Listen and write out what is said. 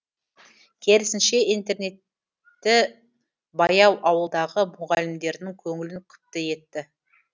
керісінше интернетті баяу ауылдағы мұғалімдердің көңілін күпті етті